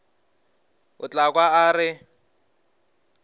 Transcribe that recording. o tla kwa a re